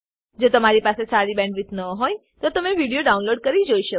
જો તમારી પાસે સારી બેન્ડવિડ્થ ન હોય તો તમે વિડીયો ડાઉનલોડ કરીને જોઈ શકો છો